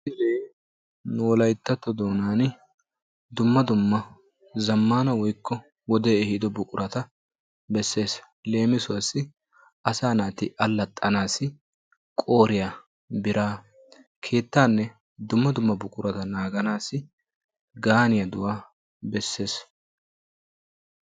misilee nu wolayittatto doonan dumma dumma zammaana woykko wodee ehido buqurata besses. leemisuwassi asaa naati allaxxanaassi qooriya biraa, keettaanne dumma dumma buquraa naaganaassi gaaniyaduwa besses.